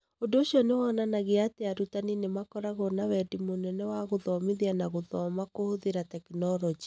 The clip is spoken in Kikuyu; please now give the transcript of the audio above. Ũndũ ũcio nĩ wonanagia atĩ arutani nĩ makoragwo na wendi mũnene wa gũthomithia na gũthoma kũhũthĩra tekinoronjĩ